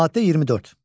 Maddə 24.